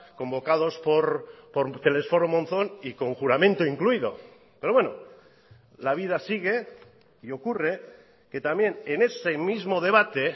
convocados por telesforo monzón y con juramento incluido pero bueno la vida sigue y ocurre que también en ese mismo debate